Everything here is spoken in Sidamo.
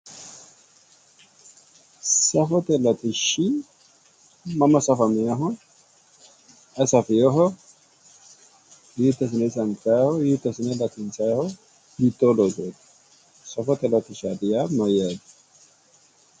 Safote latishi mama safamewoho ? Ayi safewoho? Hiito assine sanifayiho? hiitto asinne latinisayiho? Hitoo losooti? safote latishashaati yaa Mayyaate?